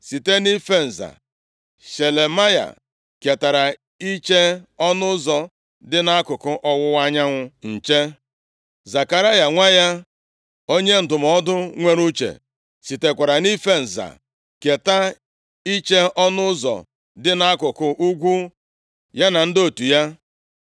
Site nʼife nza, Shelemaya ketara iche ọnụ ụzọ dị nʼakụkụ ọwụwa anyanwụ nche. Zekaraya nwa ya, onye ndụmọdụ nwere uche, sitekwara nʼife nza keta iche ọnụ ụzọ dị nʼakụkụ ugwu, ya na ndị otu ya.